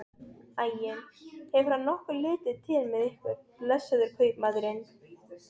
Æi, hefur hann nokkuð litið til með ykkur, blessaður kaupmaðurinn?